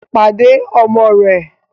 Pàdé ọmọ rẹ̀!